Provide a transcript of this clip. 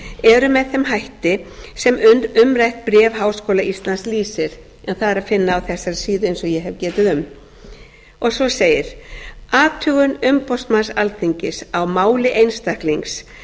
umboðsmanns eru með þeim hætti sem umrætt bréf stúdentaráðs háskóla íslands lýsir en það er að finna á þessari síðu eins og ég hef getið um svo segir athugun umboðsmanns alþingis á máli einstaklings